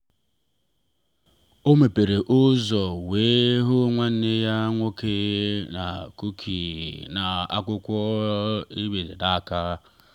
o mepere ụzọ wee hụ nwanne ya nwoke na kuki na akwụkwọ e dere n'aka.